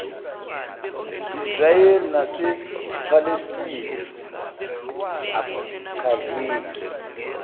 israel nasephalestina akuchazeki